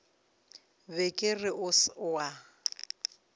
be ke re o a